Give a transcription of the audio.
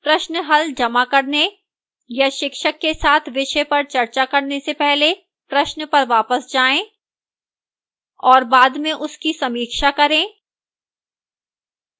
प्रश्न हल जमा करने या शिक्षक के साथ विषय पर चर्चा करने से पहले प्रश्न पर वापस जाएं और बाद में उसकी समीक्षा करें